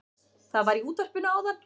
Það var í útvarpinu áðan